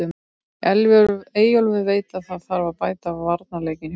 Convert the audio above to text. Eyjólfur veit að það þarf að bæta varnarleikinn hjá okkur.